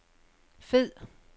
fed